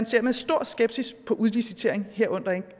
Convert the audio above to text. ser med stor skepsis på udlicitering herunder